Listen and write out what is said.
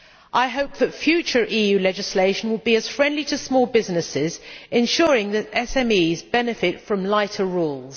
I hope that future EU legislation will be as friendly to small businesses, ensuring that SMEs benefit from lighter rules.